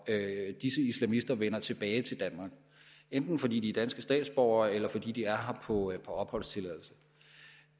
disse islamister vender tilbage til danmark enten fordi de er danske statsborgere eller fordi de er på opholdstilladelse